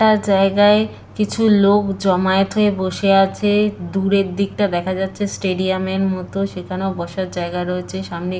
একটা জায়গায় কিছু লোক জমায়েত হয়ে বসে আছে দূরের দিকটা দেখা যাচ্ছে স্টেডিয়াম -এর মতো সেখানেও বসার জায়গা রয়েছে সামনে এ--